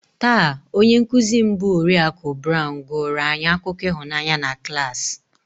Taa, onye nkụzi m bụ Oriakụ Brown gụụrụ anyị akụkọ ịhụnanya na klas